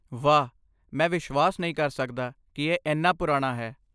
ਵਾਹ, ਮੈਂ ਵਿਸ਼ਵਾਸ ਨਹੀਂ ਕਰ ਸਕਦਾ ਕਿ ਇਹ ਇੰਨਾ ਪੁਰਾਣਾ ਹੈ।